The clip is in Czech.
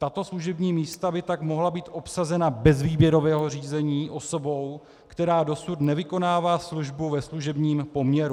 Tato služební místa by tak mohla být obsazena bez výběrového řízení osobou, která dosud nevykonává službu ve služebním poměru.